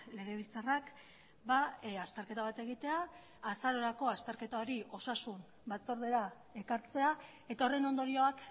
legebiltzarrak azterketa bat egitea azarorako azterketa hori osasun batzordera ekartzea eta horren ondorioak